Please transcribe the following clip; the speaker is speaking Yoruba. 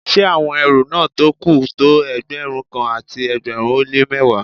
Ṣé àwọn ẹrú náà tó kù tó Ẹgbẹ̀rún kan àti ẹgbẹ̀rin ó lé mẹ́wàá